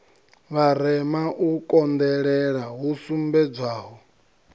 vharema u konḓelela hu sumbedzwaho